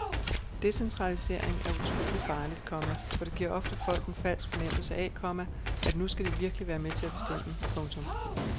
Decentralisering er utrolig farligt, komma for det giver ofte folk en falsk fornemmelse af, komma at nu skal de virkelig være med til at bestemme. punktum